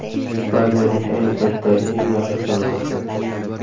Ispaniyaning ayni paytdagi eng yaxshi jamoasi.